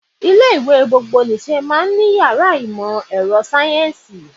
Ilé ìwé gbogbonìṣe máa ń ní yàrá ìmọ̀ ẹ̀rọ sáyẹ́ǹsì.